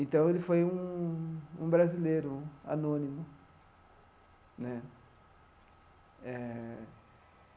Então, ele foi um um brasileiro anônimo né eh.